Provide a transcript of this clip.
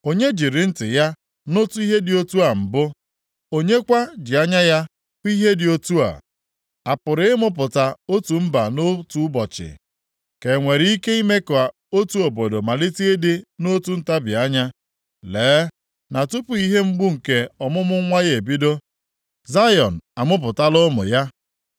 Onye jiri ntị ya nụtụ ihe dị otu a mbụ? Onye kwa ji anya ya hụ ihe dị otu a? A pụrụ ịmụpụta otu mba nʼotu ụbọchị? Ka e nwere ike ime ka otu obodo malite ịdị nʼotu ntabi anya? Lee na tupu ihe mgbu nke ọmụmụ nwa ya ebido Zayọn amụpụtala ụmụ ya.